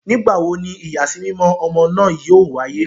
Nigbawo ni iyasimimọ ọmọ naa yoo waye?